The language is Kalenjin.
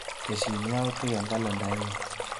Tesyi yautik eng kalendainyu.